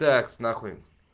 такс нахуй